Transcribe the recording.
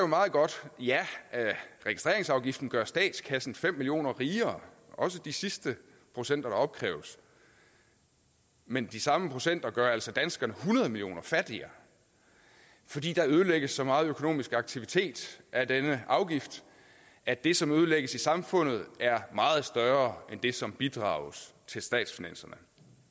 meget godt ja registreringsafgiften gør statskassen fem million kroner rigere også de sidste procenter der opkræves men de samme procenter gør altså danskerne hundrede million kroner fattigere fordi der ødelægges så meget økonomisk aktivitet af denne afgift at det som ødelægges i samfundet er meget større end det som bidrages til statsfinanserne